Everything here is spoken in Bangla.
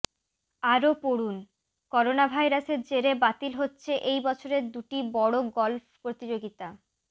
আরও পড়ুনঃকরোনাভাইরাসের জেরে বাতিল হচ্ছে এইবছরের দুটি বড় গলফ প্রতিযোগিতা